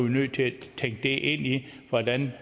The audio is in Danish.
vi nødt til at tænke det ind i hvordan